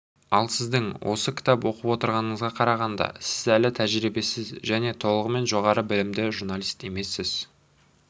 ал сіздің осы кітапты оқып отырғаныңызға қарағанда сіз әлі тәжірибесіз және толығымен жоғары білімді журналист емессіз